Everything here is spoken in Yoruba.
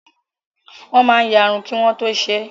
Wọ́n máa ya irun kí wọ́n tó ṣe é.